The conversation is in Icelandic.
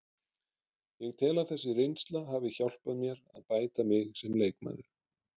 Ég tel að þessi reynsla hafi hjálpað mér að bæta mig sem leikmaður.